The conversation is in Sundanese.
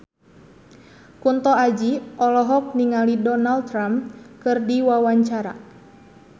Kunto Aji olohok ningali Donald Trump keur diwawancara